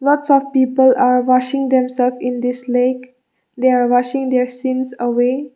lots of people are washing themselves in this lake they are washing their sins away.